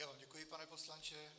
Já vám děkuji, pane poslanče.